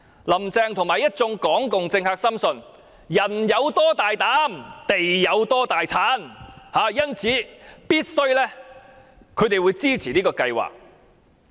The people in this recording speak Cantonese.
林鄭月娥和一眾港共政客深信"人有多大膽，地有多大產"，因此他們必定支持這個計劃。